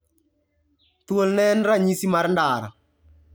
Thuol ne en ranyisi mar ndara.